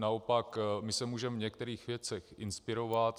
Naopak my se můžeme v některých věcech inspirovat.